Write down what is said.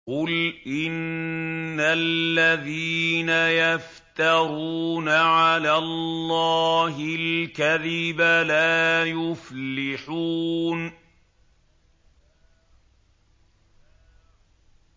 قُلْ إِنَّ الَّذِينَ يَفْتَرُونَ عَلَى اللَّهِ الْكَذِبَ لَا يُفْلِحُونَ